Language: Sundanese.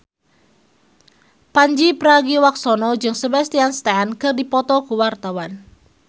Pandji Pragiwaksono jeung Sebastian Stan keur dipoto ku wartawan